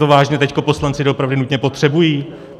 To vážně teď poslanci doopravdy nutně potřebují?